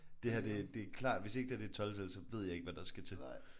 Det her det det klart hvis ikke det her det et 12-tal så ved jeg ikke hvad der skal til